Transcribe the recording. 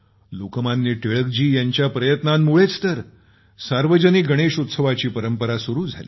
लोकमान्य टिळक जी यांच्या प्रयत्नांमुळेच तर सार्वजनिक गणेश उत्सवाची परंपरा सुरू झाली